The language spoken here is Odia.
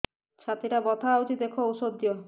ଛାତି ଟା ବଥା ହଉଚି ଦେଖ ଔଷଧ ଦିଅ